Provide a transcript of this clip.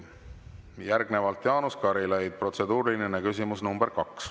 Järgnevalt Jaanus Karilaid, protseduuriline küsimus nr 2.